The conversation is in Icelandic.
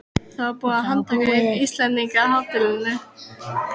Það var búið að handtaka einn Íslendinganna á hótelinu.